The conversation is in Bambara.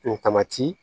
N tamati